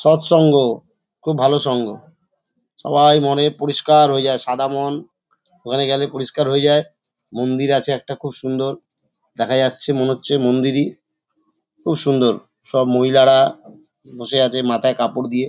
সৎ সঙ্গ খুব ভালো সঙ্গ সবাই মনের পরিষ্কার হয়ে যায় সাদা মন ওখানে গেলে পরিষ্কার হয়ে যায়। মন্দির আছে একটা খুব সুন্দর দেখা যাচ্ছে মনে হচ্ছে মন্দিরই। খুব সুন্দর সব মহিলারা বসে আছে মাথায় কাপড় দিয়ে।